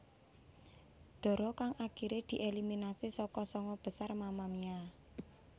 Dara kang akiré dieliminasi saka sanga besar Mamamia